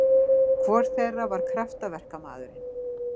Hvor þeirra var kraftaverkamaðurinn?